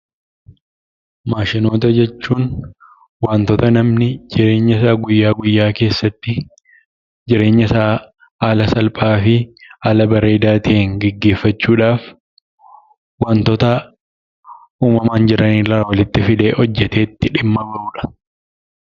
Maashinoota jechuun waantota namni jireenyasaa guyyaa guyyaa keessatti jireenyasaa haala salphaa fi haala bareedaa ta'een geggeffachuudhaaf wantota uumamaan jiran irraa walitti fidee hojjetee itti dhimma ba'udha.